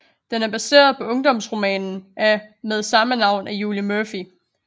Den er baseret på ungdomsromanen af med samme navn af Julie Murphy